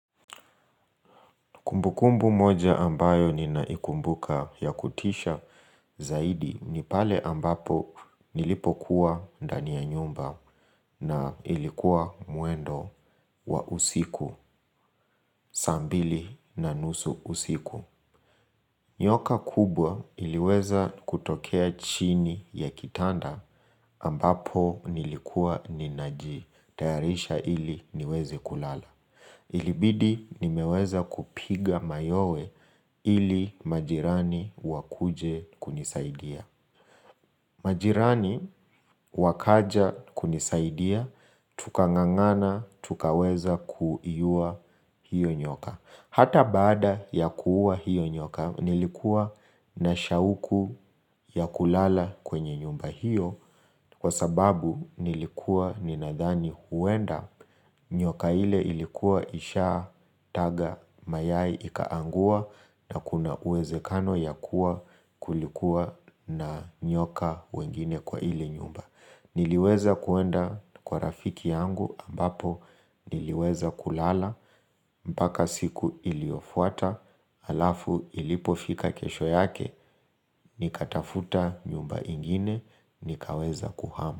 Kumbukumbu moja ambayo ninaikumbuka ya kutisha zaidi ni pale ambapo nilipo kuwa dani ya nyumba na ilikuwa muendo wa usiku sambili na nusu usiku. Nyoka kubwa iliweza kutokea chini ya kitanda ambapo nilikuwa ninaji tayarisha ili niwezi kulala. Ilibidi nimeweza kupiga mayowe ili majirani wakuje kunisaidia. Majirani wakaja kunisaidia, tukangangana tukaweza kuiyua hiyo nyoka. Hata bada ya kuwa hiyo nyoka nilikuwa na shauku ya kulala kwenye nyumba hiyo Kwa sababu nilikuwa ninadhani huenda nyoka ile ilikuwa isha taga mayai ikaangua na kuna uweze kano ya kuwa kulikuwa na nyoka wengine kwa hile nyumba Niliweza kuenda kwa rafiki yangu ambapo niliweza kulala mpaka siku iliofuata, alafu ilipofika kesho yake, nikatafuta nyumba ingine, nikaweza kuhama.